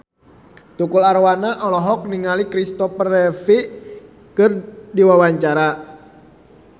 Tukul Arwana olohok ningali Kristopher Reeve keur diwawancara